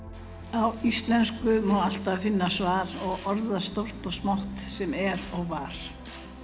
á íslensku má alltaf finna svar og orða stórt og smátt sem er og var